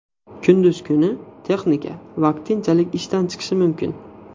Kunduz kuni texnika vaqtinchalik ishdan chiqishi mumkin.